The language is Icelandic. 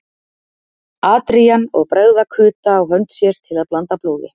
Adrian og bregða kuta á hönd sér til að blanda blóði.